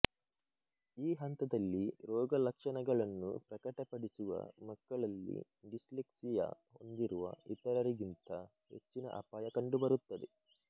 ಈ ಹಂತದಲ್ಲಿ ರೋಗಲಕ್ಷಣಗಳನ್ನು ಪ್ರಕಟಪಡಿಸುವ ಮಕ್ಕಳಲ್ಲಿ ಡಿಸ್ಲೆಕ್ಸಿಯಾ ಹೊಂದಿರುವ ಇತರರಿಗಿಂತ ಹೆಚ್ಚಿಗೆ ಅಪಾಯ ಕಂಡುಬರುತ್ತದೆ